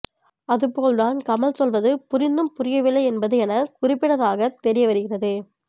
அதுபோல்தான் கமல் சொல்வது புரிந்தும் புரியவில்லை என்பது எனக் குறிப்பிடதாகத் தெரிய வருகிறது